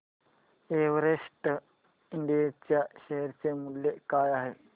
Everest इंड च्या शेअर चे मूल्य काय आहे